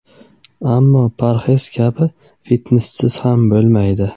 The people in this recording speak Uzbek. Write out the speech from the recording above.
Ammo parhez kabi, fitnessiz ham bo‘lmaydi.